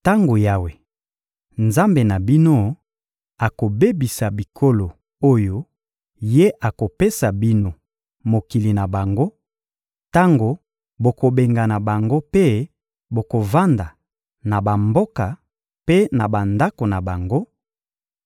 Tango Yawe, Nzambe na bino, akobebisa bikolo oyo Ye akopesa bino mokili na bango, tango bokobengana bango mpe bokovanda na bamboka mpe na bandako na bango;